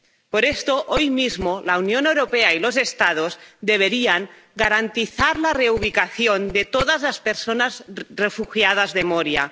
Por esto, hoy mismo, la Unión Europea y los Estados deberían garantizar la reubicación de todas las personas refugiadas de Moria